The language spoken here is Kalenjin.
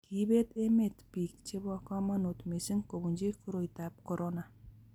kiibet emet biik chebo kamanut mising kobunji koroitab korona